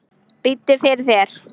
Biddu fyrir þér.